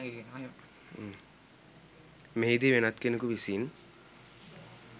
මෙහිදී වෙනත් කෙනෙකු විසින්